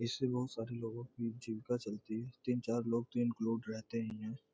इससे बहुत सारे लोगों की जीविका चलती है तीन-चार लोग तो इंक्लूड रहते ही हैं।